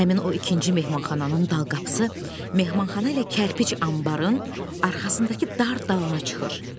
Həmin o ikinci mehmanxananın dal qapısı, mehmanxana ilə kərpic anbarın arxasındakı dar dalana çıxır.